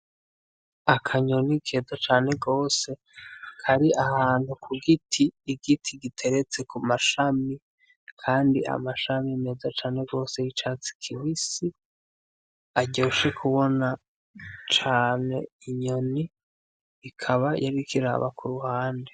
Akanyoni keza cane rwose kari ahantu ku giti, igiti giteretse ku mashami kandi amashami meza cane rwose y'icatsi kibisi aryoshe kubona cane, inyoni ikaba yariko iraba ku ruhande.